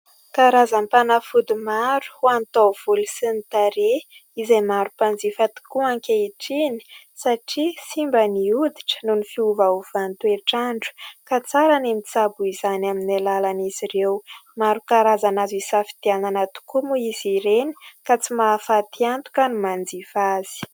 karazanm-panafody maro ho antaovoly sy ny tareha izay marom-panjifa tokoa ankehitriny satria sy mba nioditra noho ny fiovahovantoetraandro ka tsara ny mitsabo izany amin'ny alalan'izy ireo maro karazana azo hisafitianana tokoa moa izy ireny ka tsy mahafaty anto ka no manjifa azy